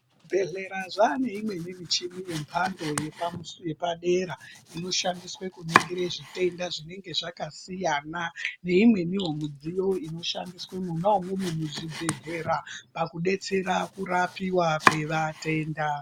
Zvibhedhlera zvaane imweni micheni yemhando yepadera inoshandiswe kuningire zvitenda zvinenge zvakasiyana-siyana neimweniwo midziyo inoshandiswa mona umomo muzvibhedhlera pakudetsera pakurapiwa kwevatenda.